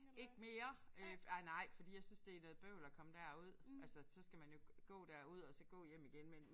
Ikke mere øh ej nej fordi jeg synes det er noget bøvl at komme derud altså så skal man jo gå derud og så gå hjem igen men